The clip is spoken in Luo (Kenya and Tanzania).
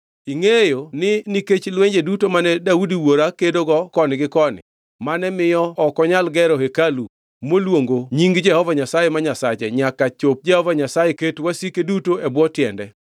“Ingʼeyo ni nikech lwenje duto mane Daudi wuora kedogo koni gi koni mane miyo ok onyal gero hekalu moluongo Nying Jehova Nyasaye ma Nyasache nyaka chop Jehova Nyasaye ket wasike duto e bwo tiende.